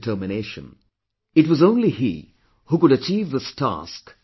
It was only he who could achieve this task of uniting India